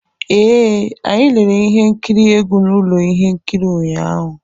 Ee, anyị lere ihe nkiri egwu na ụlọ ihe nkiri ụnyaahụ